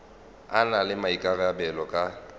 a na le maikarabelo ka